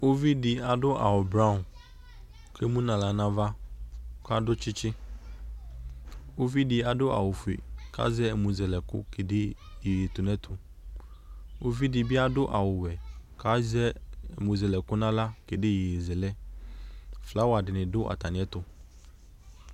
Uvidɩ adʋ awʋblɔ k'emu n'aɣla n'ava k'akɔ tsitsi ;uvidɩ adʋ awʋfue k'azɛ ɛmʋzɛkʋ kede iyeyetunɛtʋ ;uvidɩ bɩ adʋ awʋwɛ k'azɛ ɛmʋzɛlɛkʋ n'aɣla kede iyeyezɛlɛ Flawa dɩnɩ dʋ atamɩɛtʋ